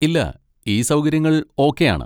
ഇല്ല. ഈ സൗകര്യങ്ങൾ ഓക്കെ ആണ്.